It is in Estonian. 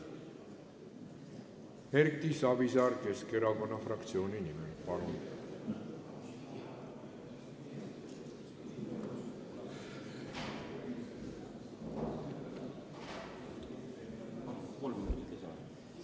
Erki Savisaar Keskerakonna fraktsiooni nimel, palun!